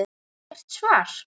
Ekkert svar.